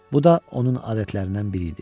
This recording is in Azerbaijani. Bu da onun adətlərindən biri idi.